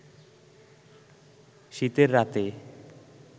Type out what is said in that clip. শীতের রাতে